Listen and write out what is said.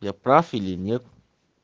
я прав или нет